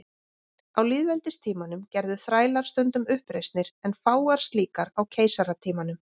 Á lýðveldistímanum gerðu þrælar stundum uppreisnir en fáar slíkar á keisaratímanum.